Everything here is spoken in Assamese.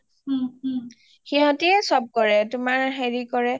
হিহঁতিয়ে সব কৰে তোমাৰ হেৰি কৰে